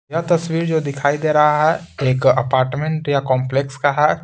यह तस्वीर जो दिखाई दे रहा है एक अपार्टमेंट या कॉम्प्लेक्स का है।